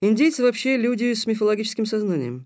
индейцы вообще люди с мифологическим сознанием